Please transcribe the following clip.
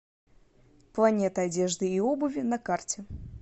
планета одежды и обуви на карте